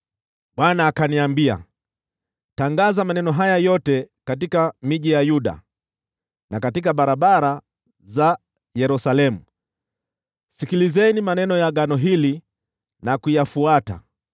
Bwana akaniambia, “Tangaza maneno haya yote katika miji ya Yuda na katika barabara za Yerusalemu: ‘Sikilizeni maneno ya agano hili na kuyafuata.